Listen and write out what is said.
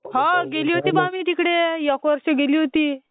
हो गेली होती बा मी तिकडे एक वर्ष गेली होती.